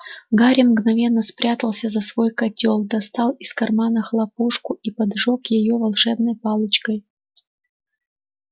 гарри мгновенно спрятался за свой котёл достал из кармана хлопушку и поджёг её волшебной палочкой